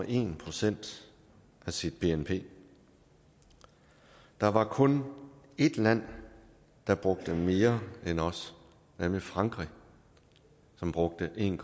en procent af sit bnp der var kun et land der brugte mere end os nemlig frankrig som brugte en